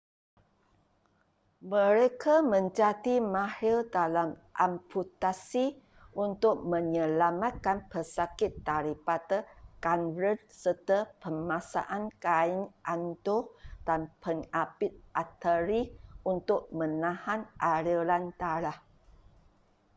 mereka menjadi mahir dalam amputasi untuk menyelamatkan pesakit daripada gangren serta pemasangan kain anduh dan pengapit arteri untuk menahan aliran darah